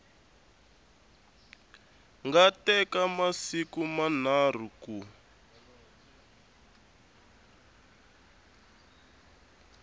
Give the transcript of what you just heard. nga teka masiku manharhu ku